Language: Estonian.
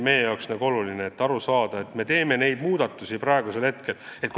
Meie jaoks on oluline aru saada, et just selle sihiga me praegu neid muudatusi teeme.